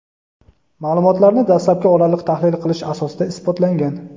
ma’lumotlarni dastlabki oraliq tahlil qilish asosida isbotlangan.